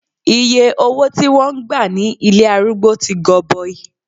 Iye owó tí wón gbà ní ilé arúgbó tí gọbọi.